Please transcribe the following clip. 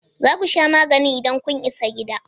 Za ku sha magani idan kun isa gida?